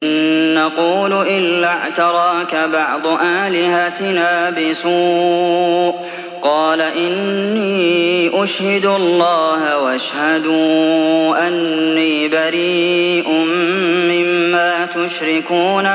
إِن نَّقُولُ إِلَّا اعْتَرَاكَ بَعْضُ آلِهَتِنَا بِسُوءٍ ۗ قَالَ إِنِّي أُشْهِدُ اللَّهَ وَاشْهَدُوا أَنِّي بَرِيءٌ مِّمَّا تُشْرِكُونَ